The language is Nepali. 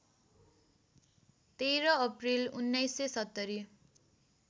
१३ अप्रिल १९७०